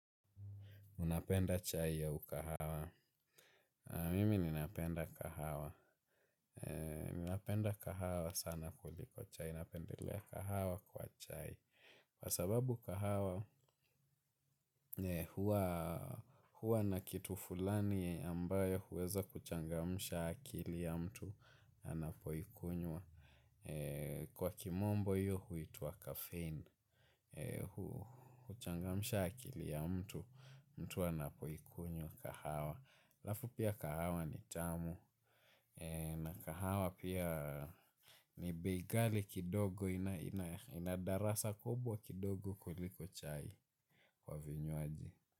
Unapenda chai ya ukahawa. Mimi ninapenda kahawa. Napenda kahawa sana kuliko chai. Napendelea kahawa kwa chai. Kwa sababu kahawa huwa na kitu fulani ambayo huweza kuchangamsha akili ya mtu anapoikunywa. Kwa kimombo hiyo huitwa kafein. Kuchangamsha akili ya mtu mtu anapoikunywa kahawa. Alafu pia kahawa ni tamu. Na kahawa pia ni bei ghali kidogo. Ina darasa kubwa kidogo kuliko chai kwa vinywaji.